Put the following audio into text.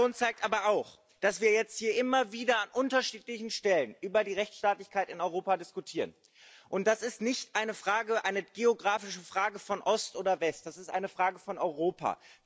Die Situation zeigt aber auch, dass wir jetzt hier immer wieder an unterschiedlichen Stellen über die Rechtsstaatlichkeit in Europa diskutieren, und das ist nicht eine geographische Frage von Ost oder West, das ist eine Frage von Europa.